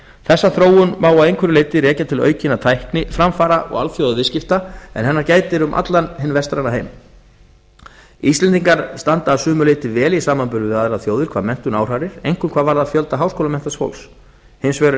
þessa þróun má að einhverju leyti rekja til aukinna tækniframfara og alþjóðaviðskipta en hennar gætir um allan hinn vestræna heim íslendingar standa að sumu leyti vel í samanburði við aðrar þjóðir hvað menntun áhrærir einkum hvað varðar fjölda háskólamenntaðs fólks hins vegar er